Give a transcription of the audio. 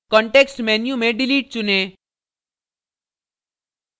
context menu में delete चुनें